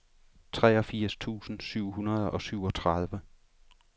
treogfirs tusind syv hundrede og syvogtredive